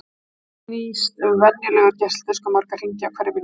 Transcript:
Hvað snýst venjulegur geisladiskur marga hringi á hverri mínútu?